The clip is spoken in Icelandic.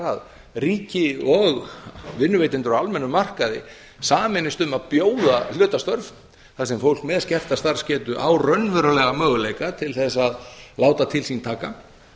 að ríkið og vinnuveitendur á almennum markaði sameinist um að bjóða hlutastörf þar sem fólk með skerta starfsgetu á raunverulega möguleika til þess að láta til sín taka